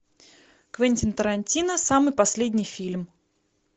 квентин тарантино самый последний фильм